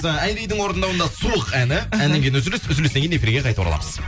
ы айридің орындауында суық әні әннен кейін үзіліс үзілістен кейін эфирге қайта ораламыз